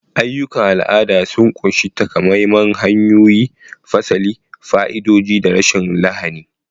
Ayyukan al'ada sun ƙunshi takamaiman hanyoyi, fasali, fa'idodi, da rashin lahani.